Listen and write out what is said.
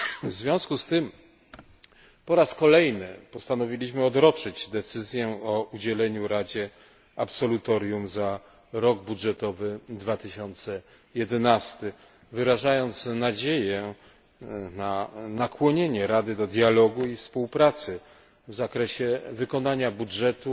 W związku z tym po raz kolejny postanowiliśmy odroczyć decyzję o udzieleniu Radzie absolutorium za rok budżetowy 2011, wyrażając nadzieję na nakłonienie Rady do dialogu i współpracy w zakresie wykonania budżetu